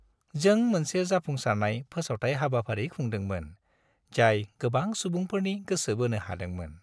जों मोनसे जाफुंसारनाय फोसावथाय हाबाफारि खुंदोंमोन, जाय गोबां सुबुंफोरनि गोसो बोनो हादोंमोन।